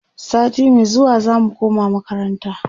sati Mai zuwa zamu koma makaranta